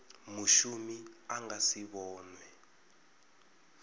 mushumi a nga si vhonwe